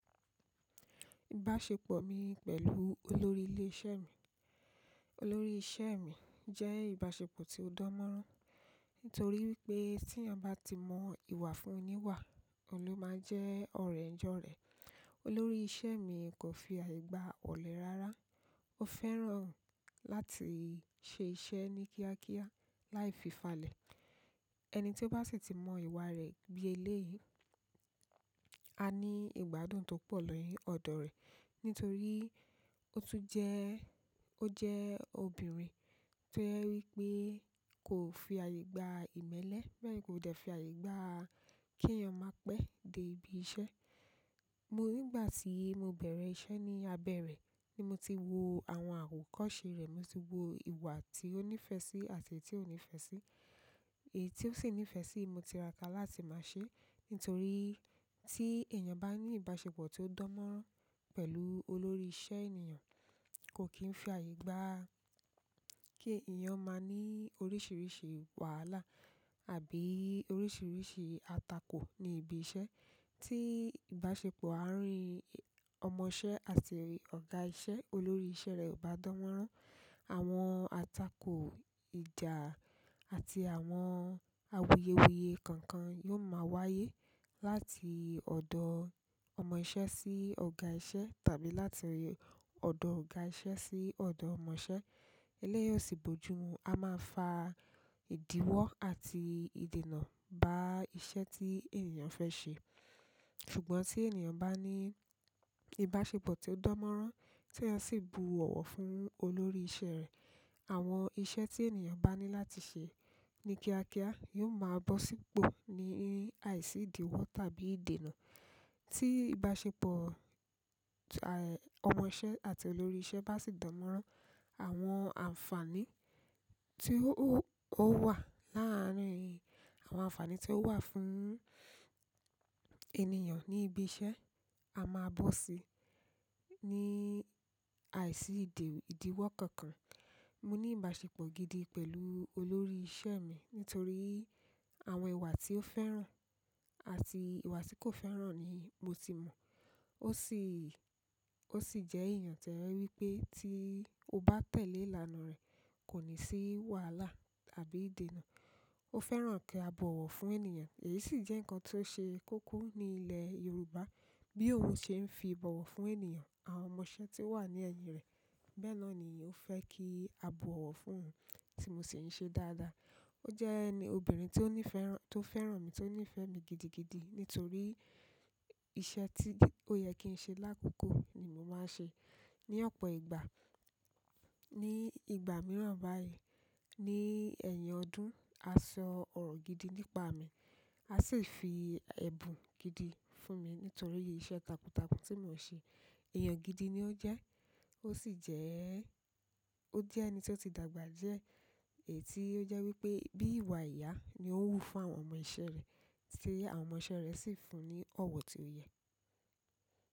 Ìbáṣepọ̀ mi pẹ̀lú olórí ilé iṣẹ́ mi, olórí iṣẹ́ mi jẹ́ ìbáṣepọ̀ tí ó dán mọ́rán, nítorí wípé tí ẹníyà bá ti mọ ìwà fún oníwà, òun ló máa jẹ́ ọ̀rẹ́ njè òré. Olórí iṣẹ́ mi kò fi àyè gba ọ̀lẹ rárá, ó fẹ́ràn láti ṣe iṣẹ́ ní kíákíá, láì fi falẹ̀. Ẹni tí ó bá sì tí mọ ìwà rẹ̀ bí eléyìí, a ní ìgbádùn tó pọ̀ lórí ọ̀dọ̀ rẹ̀. Nítorí ó tún jẹ́, ó jẹ́ obìnrin tí ójẹ wípé kò fi àyè gba ìmẹ́lẹ́, bẹ́ẹ̀ kò dẹ̀ fi àyè gba kí ẹyàn máa pẹ́ dé ibi iṣẹ́. Mo nígbà tí mo bẹ̀rẹ̀ iṣẹ́ ní abẹ́ rẹ̀ ni mo ti wo àwọn àwòkọ́se rẹ̀, mo sì wo ìwà tí ó níìfẹ̀ sí àti èyí tí ò níìfẹ̀ sí. Èyí tí ó sì níìfẹ̀ sí mo ti ra ká láti máa ṣe, nítorí tí èèyàn bá ní ìbáṣepọ̀ tí ó dán mọ́rán pẹ̀lú olórí iṣẹ́ ènìyàn, kò kí ń fi àyè gba kí èèyàn máa ní oríṣìíríṣìí wàhálà àbí oríṣìíríṣìí àtakò ní ibi iṣẹ́. Tí ìbáṣepọ̀ àárín ọmọ iṣẹ́ àti ọ̀gá iṣẹ́, olórí iṣẹ́ rẹ̀ ò bá dán mọ́rán, àwọn àtakò ìjà àti àwọn awuyewuye kankan yóò máa wáyé láti ọ̀dọ̀ ọmọ iṣẹ́ sí ọ̀gá iṣẹ́ tàbí láti ọ̀dọ̀ ọ̀gá iṣẹ́ sí ọ̀dọ̀ ọmọ iṣẹ́. Eléyí ọ̀sì bojú mu a máa fa ìdíwọ́ àti ìdènà bá iṣẹ́ tí èèyàn fẹ́ ṣe. Ṣùgbọ́n tí èèyàn bá ní ìbáṣepọ̀ tí ó dán mọ́rán tí ẹ sì bu ọ̀wọ̀ fún olórí iṣẹ́ rẹ̀, àwọn iṣẹ́ tí èníyàn bá ní láti ṣe ní kíákíá yóò máa bọ́ sípò ní àìsí ìdíwọ́ tàbí ìdènà. Tí ìbáṣepọ̀ à, ọmọ iṣẹ́ àti olórí iṣẹ́ bá sì dán mọ́rán, àwọn àǹfààní tí ó wà láàárín, àwọn àǹfààní tí ó wà fún ènìyàn ní ibi iṣẹ́ á máa bọ́ sí ní àìsí ìdíwọ́ kankan. Mo ní ìbáṣepọ̀ gidi pẹ̀lú olórí iṣẹ́ mi nítorí àwọn ìwà tí ó fẹ́ràn àti ìwà tí kò fẹ́ràn ni mo ti mọ̀. Ó sì, ó sì jẹ́ èèyàn tí ójé wípé tí o bá tẹ̀lé ìlànà rẹ̀ kò ní sí wàhálà àbí ìdènà. Ó fẹ́ràn kí a bọ̀wọ̀ fún èníyàn èyí sì jẹ́ nǹkan tí ó ṣe kókó ní ilẹ̀ Yorùbá. Bí òun ṣe ń fi íbọ̀wọ̀ fún èníyàn, àwọn ọmọ iṣẹ́ tí ó wà ní ẹ̀yìn rẹ̀ bẹ́ẹ̀ lọ ni ó fẹ́ kí a bọ̀wọ̀ fún tí mo sì ń ṣe dáadáa. Ó jẹ́ ẹni obìnrin tí ó ní ìfẹ́ràn, tó fẹ́ràn mi, tó nífẹ̀ẹ́ mi gidigidi nítorí iṣẹ́ tí ó yẹ kí n ṣe lákòókò ni mo máa ń ṣe. Ni ọ̀pọ̀ ìgbà, ní ìgbà mìíràn báyìí, ní ẹ̀yìn ọdún, a sọ ọ̀rọ̀ gidi nípa mi, a sì fi ẹ̀bùn gidi fún mi nítorí iṣẹ́ takuntakun tí mò ń ṣe. Èèyàn gidi ni ó jẹ́, ó sì jẹ́, ó jẹ́ ẹni tí ó ti dàgbà jíẹ́ èyí tí ó jẹ́ wípé bí ìwà ìyá ni ó ń wú fún àwọn ọmọ iṣẹ́ rẹ̀, tí àwọn ọmọ iṣẹ́ rẹ̀ sì ń fún un ní ọ̀wọ̀ tí ó yẹ.